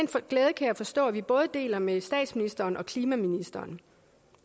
glæde kan jeg forstå vi både deler med statsministeren og klimaministeren